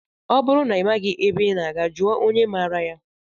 Ọ bụrụ na ị maghị ebe ị na-aga, jụọ onye maraa ya.